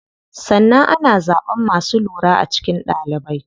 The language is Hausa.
Sannan ana zaɓan masu lura a cikin ɗalibai.